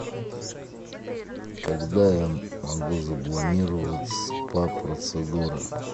когда я могу запланировать спа процедуры